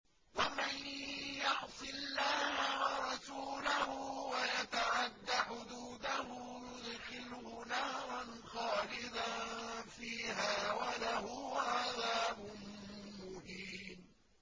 وَمَن يَعْصِ اللَّهَ وَرَسُولَهُ وَيَتَعَدَّ حُدُودَهُ يُدْخِلْهُ نَارًا خَالِدًا فِيهَا وَلَهُ عَذَابٌ مُّهِينٌ